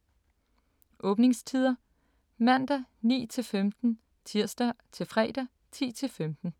Åbningstider: Mandag: 9-15 Tirsdag-fredag: 10-15